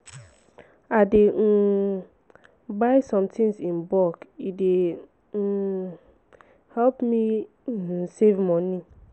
i dey um buy sometins in bulk e dey um help me um save moni.